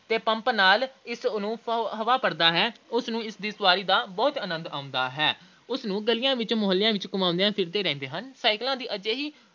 ਤੇ ਪੰਪ ਨਾਲ ਇਸ ਦੀ ਹਵਾ ਭਰਦਾ ਹੈ। ਉਸ ਨੂੰ ਇਸ ਦੀ ਸਵਾਰੀ ਦਾ ਬਹੁਤ ਆਨੰਦ ਆਉਂਦਾ ਹੈ। ਸਨੂੰ ਗਲੀਆਂ-ਮੁਹੱਲਿਆਂ ਵਿੱਚ ਘੁੰਮਦੇ ਫਿਰਦੇ ਰਹਿੰਦੇ ਹਨ। cycle ਦੀ ਅਜਿਹੀ